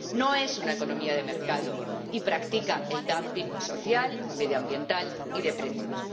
No es una economía de mercado y practica el dumping social, medioambiental y de precios.